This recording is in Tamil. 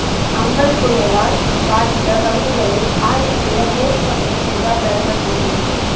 அம்பன் புயலால் பாதித்த பகுதிகளை ஆய்வு செய்ய மேற்குவங்கம் சென்றார் பிரதமர் மோடி